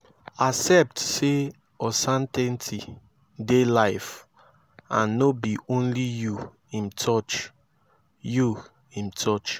accept say uncertainty dey life and no be only yu im touch yu im touch